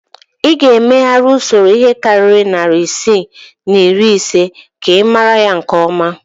Ị ga-emegharị usoro ihe karịrị narị isii na iri ise ka ị mara ya nke ọma